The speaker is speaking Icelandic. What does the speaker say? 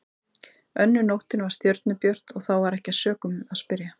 Önnur nóttin var stjörnubjört og þá var ekki að sökum að spyrja.